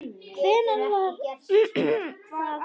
Hvenær var það fyrst?